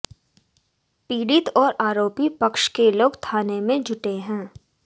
पीड़ित और आरोपी पक्ष के लोग थाने में जुटे हैं